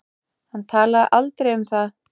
Hann talaði aldrei um það.